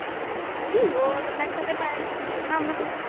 ਨੀ ਔਰ ਨੇਤ ਤੇ ਪਾਯਾ VEDIO ਬਣਾ ਬਣਾ